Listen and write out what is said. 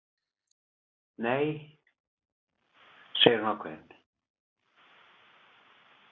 Nei, segir hún ákveðin.